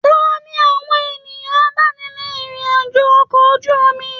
Taní àwọn ènìyàn abáni rìn irin-ajo okọ̀ ojú omi?